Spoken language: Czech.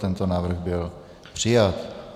Tento návrh byl přijat.